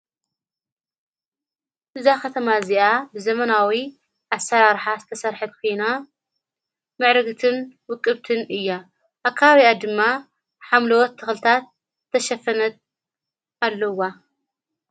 ብዛ ኸተማ እዚኣ ዘመናዊ ኣሠራርኃስ ተሠርሐት ኮና ምዕርግትን ውቅብትን እያ ኣብ ከባብአ ድማ ሓምልወት ተኽልታት ተሸፈነት ኣለዋ::